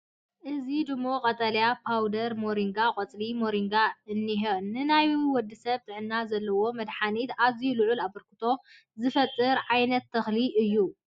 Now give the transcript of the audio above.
እዚ ድሙቕ ቀጠልያ ፓውደር ሞሪንጋን ቆፅሊ ሞሪንጋን እንሄው፣ ንናይ ወዲ ሰብ ጥዕና ዘለዎ መድሓኒትነትን ኣዝዩ ልዑል ኣበርክቶ ዝፈጥር ዓይነት ተኽሊ እዩ፡፡